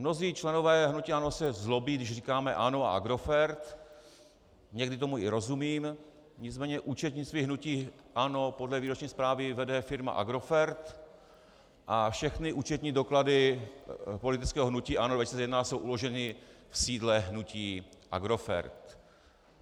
Mnozí členové hnutí ANO se zlobí, když říkáme ANO a Agrofert, někdy tomu i rozumím, nicméně účetnictví hnutí ANO podle výroční zprávy vede firma Agrofert a všechny účetní doklady politického hnutí ANO 2011 jsou uloženy v sídle hnutí Agrofert.